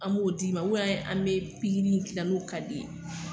An b'o d'i ma an be pikiri in k'i la n'o ka di ye.